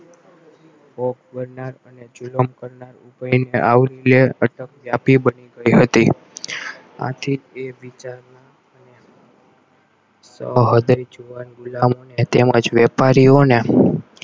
કરનાર અને જુલમ કરનાર બની ગઈ હતી આથી તે વિચારમાં અને સો હડાઈ ગુલમો ને તેમજ વેપારીઓને